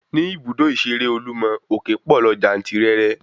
Ní ibùdó ìṣeré olúmọ, òképọ̀ lọ jantirẹrẹ